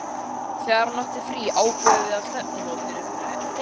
Þegar hún átti frí ákváðum við stefnumótin fyrirfram.